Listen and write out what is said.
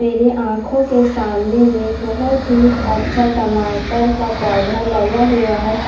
मेरे आंखो के सामने मे बहोत ही अच्छा टमाटर का पौधा लगा हुआ है।